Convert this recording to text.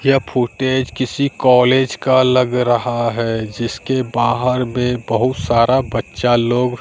यह फुटेज किसी कॉलेज का लग रहा है जिसके बाहर में बहुत सारा बच्चा लोग--